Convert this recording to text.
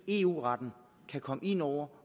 eu retten kan komme ind over